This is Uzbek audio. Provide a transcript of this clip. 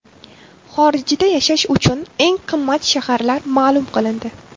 Xorijda yashash uchun eng qimmat shaharlar ma’lum qilindi.